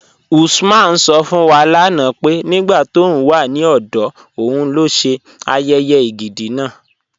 Usman sọ̀ fún wa lánà pé nígbà tó ń wà ní ọdọ̀ ọ̀un ló ṣè ayéyé ègídi náà.